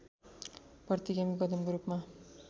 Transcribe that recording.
प्रतिगामी कदमको रूपमा